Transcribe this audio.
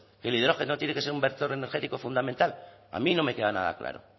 que el hidrógeno tiene que ser un vector energético fundamental a mí no me queda nada claro